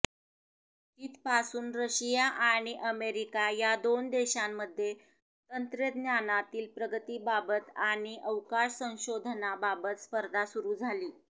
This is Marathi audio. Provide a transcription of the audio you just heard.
तिथपासून रशिया आणि अमेरिका या दोन देशांमध्ये तंत्रज्ञानातील प्रगतीबाबत आणि अवकाश संशोधनाबाबत स्पर्धा सुरू झाली